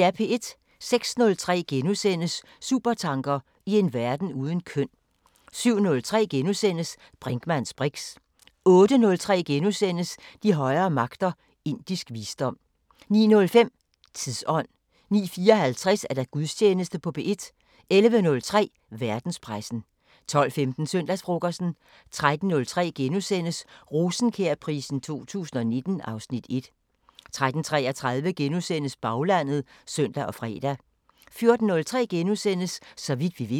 06:03: Supertanker: I en verden uden køn * 07:03: Brinkmanns briks * 08:03: De højere magter: Indisk visdom * 09:05: Tidsånd 09:54: Gudstjeneste på P1 11:03: Verdenspressen 12:15: Søndagsfrokosten 13:03: Rosenkjærprisen 2019 (Afs. 1)* 13:33: Baglandet *(søn og fre) 14:03: Så vidt vi ved *